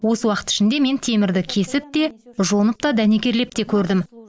осы уақыт ішінде мен темірді кесіп те жонып та дәнекерлеп те көрдім